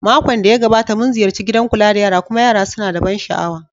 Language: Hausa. Makon da ya gabata, mun ziyarci gidan kula da yara kuma yara suna da ban sha'awa.